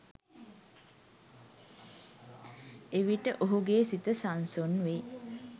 එවිට ඔහුගේ සිත සන්සුන් වෙයි